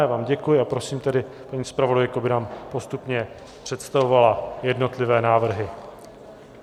Já vám děkuji a prosím tedy paní zpravodajku, by nám postupně představovala jednotlivé návrhy.